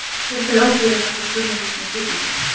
Hver ber ábyrgðina frá sjónarhorni trygginga?